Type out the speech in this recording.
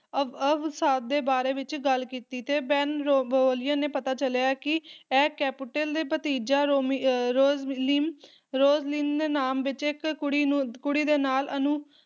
ਅਵ ਅਵ ਅਵਸਾਦ ਦੇ ਬਾਰੇ ਵਿੱਚ ਗੱਲ ਕੀਤੀ ਤੇ ਬੇਨਵੋਲੀਓ ਨੇ ਪਤਾ ਚਲਿਆ ਹੈ ਕਿ ਇਹ ਕੈਪੁਲੇਟ ਦਾ ਭਤੀਜਾ, ਰੋਮੀ ਅਹ ਰੋਸਲੀਨ ਰੋਸਲੀਨ ਨਾਮ ਵਿੱਚ ਇੱਕ ਕੁੜੀ ਨੂੰ ਕੁੜੀ ਦੇ ਨਾਲ ਅਣਉ